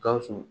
Gawusu